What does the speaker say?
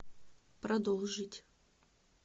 продолжить